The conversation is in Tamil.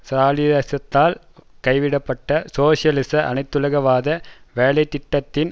ஸ்ராலினிசத்தால் கைவிடப்பட்ட சோசியலிச அனைத்துலகவாத வேலை திட்டத்தின்